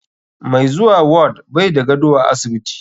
Mai zuwa ward bai da gado a asibiti.